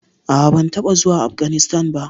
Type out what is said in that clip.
A'a, ban taɓa zuwa Afganistan ba?